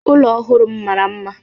ụlọ ọhụrụ m mara mma